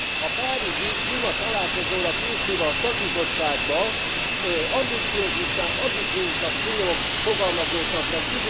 A párizsi klímatalálkozóra készülve a szakbizottságban ambiciózusnál ambiciózusabb célok fogalmazódtak meg.